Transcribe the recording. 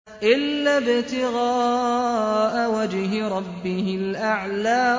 إِلَّا ابْتِغَاءَ وَجْهِ رَبِّهِ الْأَعْلَىٰ